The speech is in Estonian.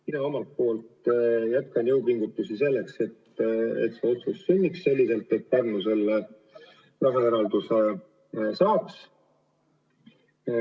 Mina jätkan jõupingutusi selleks, et see otsus sünniks ja Pärnule see raha eraldataks.